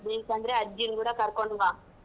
ಬೇಕಂದ್ರೆ ಅಜ್ಜಿನೂ ಕೂಡ ಕರ್ಕೊಂಡು ಬಾ.